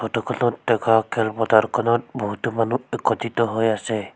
Photo খনত দেখা খেল পথাৰখনত বহুতো মানুহ একত্ৰিত হৈ আছে।